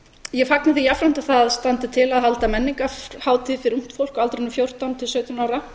ég fagna því jafnframt að það standi til að halda menningarhátíð fyrir ungt fólk á aldrinum fjórtán til sautján ára